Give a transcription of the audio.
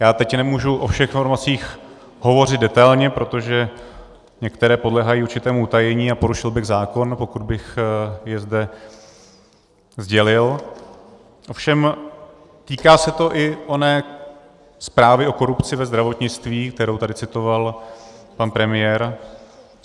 Já teď nemůžu o všech informacích hovořit detailně, protože některé podléhají určitému utajení a porušil bych zákon, pokud bych je zde sdělil, ovšem týká se to i oné zprávy o korupci ve zdravotnictví, kterou tady citoval pan premiér.